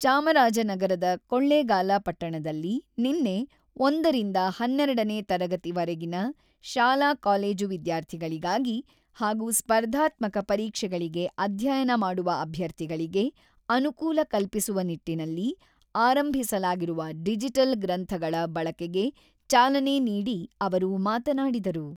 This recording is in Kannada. ಚಾಮರಾಜನಗರದ ಕೊಳ್ಳೇಗಾಲ ಪಟ್ಟಣದಲ್ಲಿ ನಿನ್ನೆ, ಒಂದರಿಂದ ಹನ್ನೆರಡನೇ ತರಗತಿವರೆಗಿನ ಶಾಲಾ-ಕಾಲೇಜು ವಿದ್ಯಾರ್ಥಿಗಳಿಗಾಗಿ ಹಾಗೂ ಸ್ಪರ್ಧಾತ್ಮಕ ಪರೀಕ್ಷೆಗಳಿಗೆ ಅಧ್ಯಯನ ಮಾಡುವ ಅಭ್ಯರ್ಥಿಗಳಿಗೆ ಅನುಕೂಲ ಕಲ್ಪಿಸುವ ನಿಟ್ಟಿನಲ್ಲಿ ಆರಂಭಿಸಲಾಗಿರುವ ಡಿಜಿಟಲ್ ಗ್ರಂಥಗಳ ಬಳಕೆಗೆ ಚಾಲನೆ ನೀಡಿ ಅವರು ಮಾತನಾಡಿದರು.